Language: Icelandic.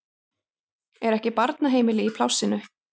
Er ekki barnaheimili í plássinu?